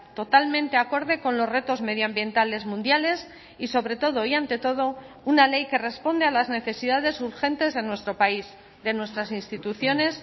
totalmente acorde con los retos medioambientales mundiales y sobre todo y ante todo una ley que responde a las necesidades urgentes de nuestro país de nuestras instituciones